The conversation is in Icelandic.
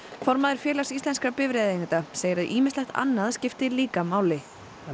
formaður Félags íslenskra bifreiðaeigenda segir að ýmislegt annað skipti líka máli